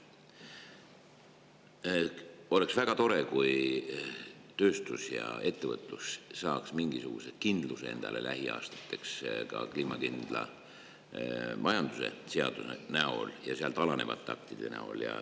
Oleks väga tore, kui tööstus ja ettevõtlus saaksid endale lähiaastateks mingisuguse kindluse ka kliimakindla majanduse seaduse ja alanevate aktide näol.